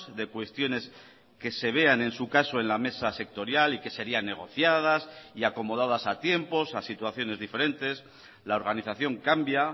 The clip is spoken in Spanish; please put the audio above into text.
de cuestiones que se vean en su caso en la mesa sectorial y que sería negociadas y acomodadas a tiempos a situaciones diferentes la organización cambia